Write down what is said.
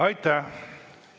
Aitäh!